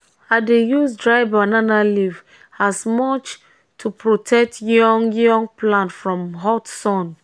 i dey use dry banana leaf as mulch to protect young young plant from hot sun.